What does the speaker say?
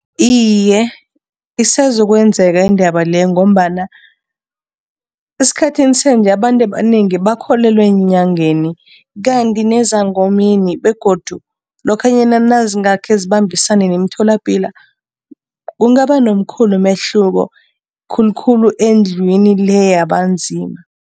Iye, isezokwenzeka indaba leyo ngombana esikhathini sanje abantu abanengi bakholelwa eenyangeni kanti nezangomeni begodu lokhanyana nazingakhe zibambisane nemitholapilo, kungaba nomkhulu umehluko khulukhulu endlwini le yabanzima.